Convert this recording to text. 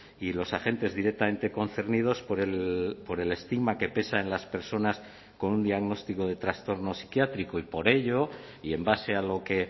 y los agentes directamente concernidos por el estigma que pesa en las personas con un diagnóstico de trastorno psiquiátrico y por ello y en base a lo que